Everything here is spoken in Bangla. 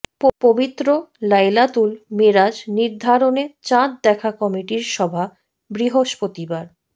পবিত্র লাইলাতুল মেরাজ নির্ধারণে চাঁদ দেখা কমিটির সভা বৃহস্পতিবার